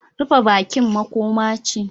Rufe bakin makoma ce